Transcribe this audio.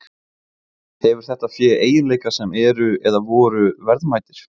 Hefur þetta fé eiginleika sem eru, eða voru, verðmætir?